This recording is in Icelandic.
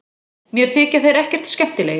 Mér þykja þeir ekkert skemmtilegir